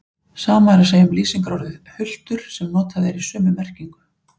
Sama er að segja um lýsingarorðið hultur sem notað er í sömu merkingu.